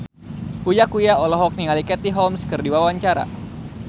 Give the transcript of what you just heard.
Uya Kuya olohok ningali Katie Holmes keur diwawancara